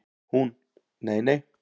Hún: Nei nei.